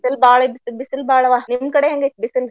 ಬಿಸಲ್ ಬಾಳ ಐತಿ ಬಿಸಲ್ ಬಾಳವಾ. ನಿಮ್ಮ ಕಡೆ ಹೆಂಗ ಐತಿ ಬಿಸಲ್?